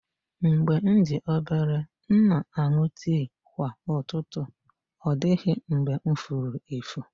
Mgbe m dị obere, m na-aṅụ tii kwa ụtụtụ, ọ dịghị mgbe m furu efu